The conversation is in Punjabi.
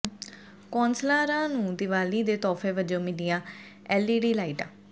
ਕੌਂਸਲਰਾਂ ਨੂੰ ਦੀਵਾਲੀ ਦੇ ਤੋਹਫੇ ਵਜੋਂ ਮਿਲੀਆਂ ਐੱਲਈਡੀ ਲਾਈਟਾਂ